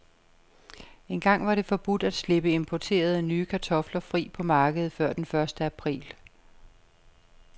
Engang var det forbudt at slippe importerede, nye kartofler fri på markedet før den første april.